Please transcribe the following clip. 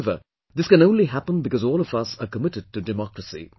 However, this can only happen because all of us are committed to democracy